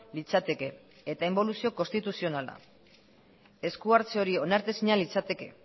litzateke eta inboluzio konstituzionala esku hartze hori onartezina litzateke